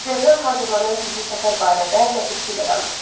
Serjant hazırlanan gizli səfər barədə ləpirçi ilə danışdı.